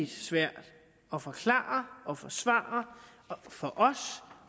svært at forklare og forsvare for os